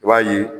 I b'a ye